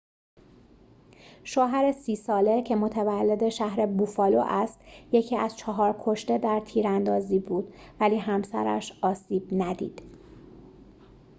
شوهر ۳۰ ساله که متولد شهر بوفالو است یکی از چهار کشته در تیراندازی بود ولی همسرش آسیب ندید